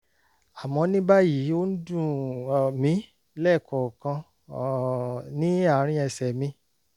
àmọ́ ní báyìí ó ń dùn um mí lẹ́ẹ̀kọ̀ọ̀kan um ní àárín ẹsẹ̀ mi